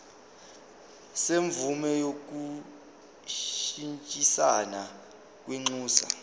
semvume yokushintshisana kwinxusa